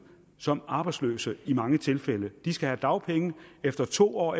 som arbejdsløse i mange tilfælde de skal have dagpenge efter to år